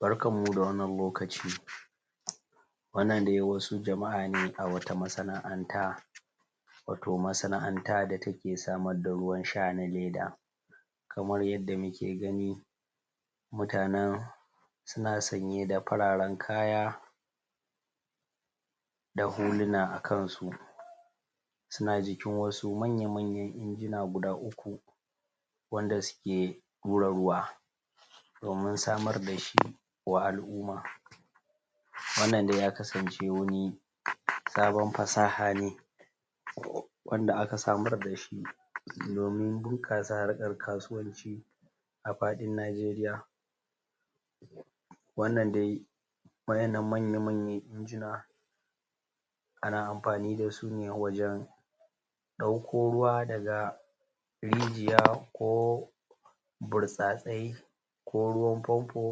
Barkanmu da wannan lokaci, Wannan dai wasu jama'a ne a wata masana'anta wato masana'anta ta take samar da ruwan sha na leda kamar yadda muke gani mutanen suna sanya da fararen kaya da huluna a kansu suna jikin wasu manya manya injina guda uku, Wanda suke hura ruwa domin samar dashi wa alumma Wannan dai ya kasance wani sabon fasaha ne wanda aka samar dashi domin bunƙasa harkan kasuwanci a faɗin najeriya wannan dai wa'innan manya-manya injina ana amfani dasu ne wajen dauko ruwa daga rijiya ko burtsatsai ko ruwan fanfo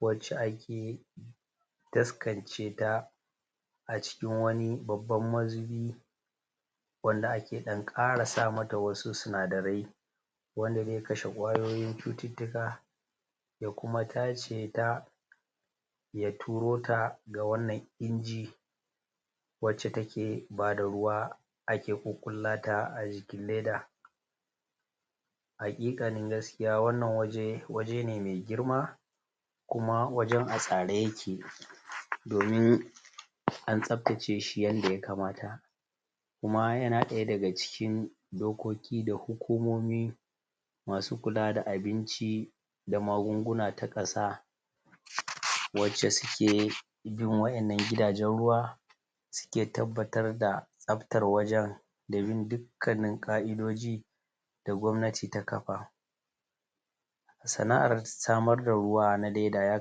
wace ake taskance ta a cikin wani babban mazubi wanda ake ɗan kara sama ta wasu sinadarai wanda zai kashe kwayoyin cuttuka ya kuma tace ta ya turo ta ma wannan inji wace take bada ruwa ake ƙuƙulata acikin leda haƙiƙanin gaskiya wannan waje waje ne mai girma kuma wajen a tsare yake domin an tsaftace shi yanda ya kamata kuma yana daya daga cikin dokoki da hukumomi masu kula da abinci da magunguna ta ƙasa wace suke bin wa'innan gidajen ruwa ruwa suke tabbatar da tsaftar wajen da bin dukkanin ƙa'iddoji da gwamnati ta kafa sana'ar samar da ruwa na leda ya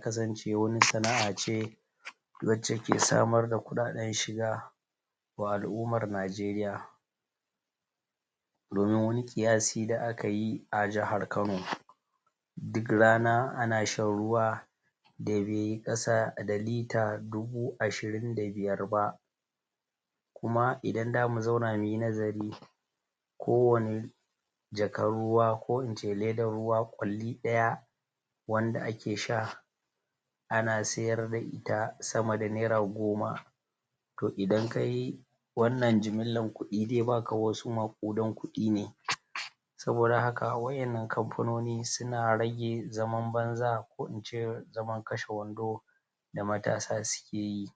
kasance wani sana'ace sana'ace wace ke samar da kuɗaɗen shiga wa alummar najeriya Domin wani kiyasi da akayi a jihar kano Duk rana a shan ruwa da yabe kasa da lita dubu ashirin da biyar ba kuma idan zamu duba muyi nazari kowani kowani jakan ruwa ko ince ledan ruwa ƙulli daya wanda ake sha ana sayarda ita sama da nera goma toh idan kayi wannan jimillan kudi zai baka wasu maƙudan kudi ne don haka wa'innan kamfanoni suna rage zaman banza ko ince zamar kashe wando da matasa suke yi